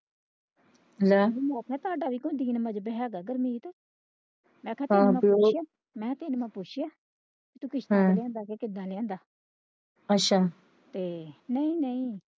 ਲੈ ਹੁਣ ਹੈਗਾ ਗੁਰਮੀਤ ਮੈਂ ਕਿਹਾ ਤੈਨੂੰ ਮੈਂ ਪੁੱਛਿਆ ਕਿੱਦਾਂ ਲਿਆਂਦਾ ਅੱਛਾ ਤੇ ਨਹੀਂ ਨਹੀਂ।